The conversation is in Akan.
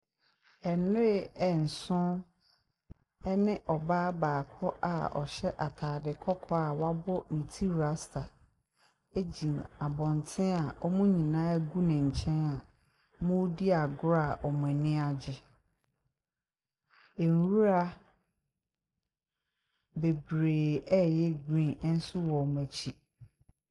Nwee nson 3ne )baa baako a )hy3 ataade k)k)) a w'ab) ne ti rasta agyina ab)nten a )mo nyinaa gu ne nky3n a )moredi agor) a )mo ani agye nwura bebree a 3y3 green nso w) )mo akyi.